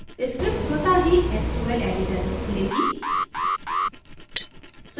script स्वतः ही sql editor में खुलेगी